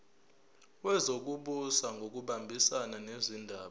wezokubusa ngokubambisana nezindaba